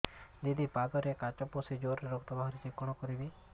ଦିଦି ପାଦରେ କାଚ ପଶି ଜୋରରେ ରକ୍ତ ବାହାରୁଛି କଣ କରିଵି